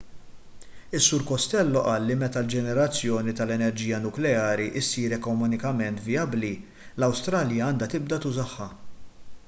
is-sur costello qal li meta l-ġenerazzjoni tal-enerġija nukleari ssir ekonomikament vijabbli l-awstralja għandha tibda tużaha